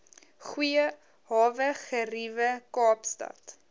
goeie hawegeriewe kaapstad